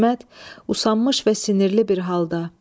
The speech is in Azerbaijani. İsmət, usanmış və sinirli bir halda.